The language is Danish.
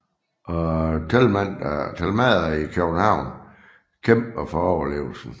Og Thelmader i København kæmper for overlevelsen